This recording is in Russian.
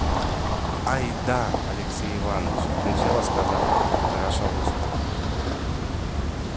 ай-да алексей иваныч нечего сказать хорошо гусь